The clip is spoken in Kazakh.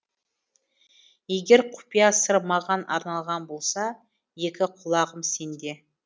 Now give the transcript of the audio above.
егер құпия сыр маған арналған болса екі құлағым сенде